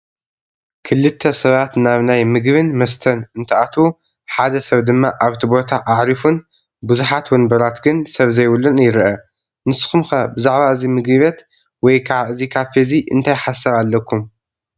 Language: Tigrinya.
ክልተ ሰባት ናብ ናይ ምግብን መስተን እንትኣትው፣ ሓደ ሰብ ድማ ኣብቲ ቦታ ኣዕሪፉን ብዙሓት ወንበራት ግን ሰብ ዘይብሉን ይረአ፡፡ ንስኹም ከ ብዛዕባ እዚ ምግቢቤት ወይከዓ እዚ ካፌ እዚ እንታይ ሓሳብ ኣለኩም?